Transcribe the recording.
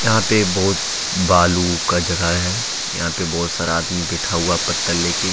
यहां पे बहुत बालू का जगह है यहां पे बहोत सारा आदमी बैठा हुआ हैं पत्तल लेके।